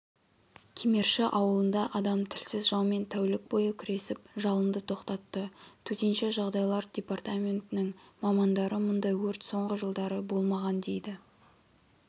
кемерші ауылында адам тілсіз жаумен тәулік бойы күресіп жалынды тоқтатты төтенше жағдайлар департаментінің мамандары мұндай өрт соңғы жылдары болмаған дейді